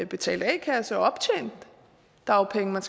betalt a kasse og optjent dagpengeret